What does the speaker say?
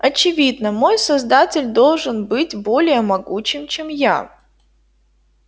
очевидно мой создатель должен быть более могучим чем я